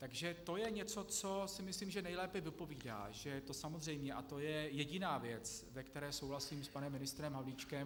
Takže to je něco, co si myslím, že nejlépe vypovídá, to je samozřejmé, a to je jediná věc, ve které souhlasím s panem ministrem Havlíčkem.